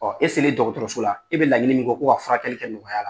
Ɔɔ dɔgɔtɔrɔso la e be laɲini min kɔ ko ka furakɛli kɛ nɔgɔya la